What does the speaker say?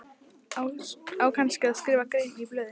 Á kannski að skrifa aðra grein í blöðin?